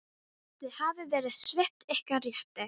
Þið hafið verið svipt ykkar rétti.